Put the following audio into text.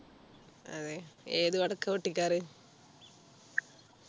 അതെ ഏതു പടക്കാ പൊട്ടിക്കാറ്